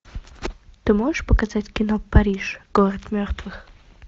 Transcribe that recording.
ты можешь показать кино париж город мертвых